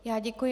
Já děkuji.